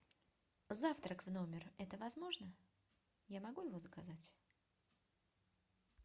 завтрак в номер это возможно я могу его заказать